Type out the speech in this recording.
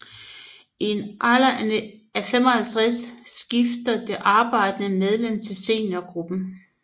I en alder af 55 skifter det arbejdende medlem til seniorgruppen